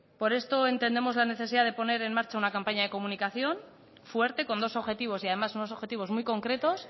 por esto entendemos la necesidad de poner en marcha una campaña de comunicación fuerte con dos objetivos y además unos objetivos muy concretos